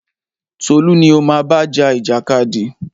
Tolú ni o má bá ja ìjàkadì!